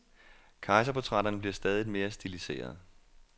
Kejserportrætterne bliver stadigt mere stiliserede.